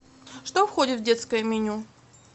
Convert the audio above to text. что входит в детское меню